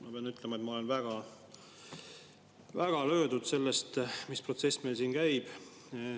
Ma pean ütlema, et ma olen väga-väga löödud sellest protsessist, mis meil siin käib.